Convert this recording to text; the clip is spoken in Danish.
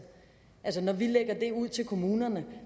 altså når vi lægger det ud til kommunerne